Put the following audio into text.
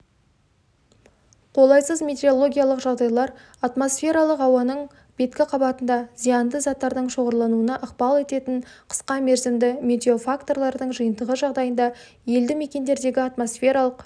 қолайсыз метеорологиялық жағдайлар атмосфералық ауаның беткі қабатында зиянды заттардың шоғырлануына ықпал ететін қысқамерзімді метеофакторлардың жиынтығы жағдайында елді мекендердегі атмосфералық